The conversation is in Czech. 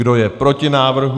Kdo je proti návrhu?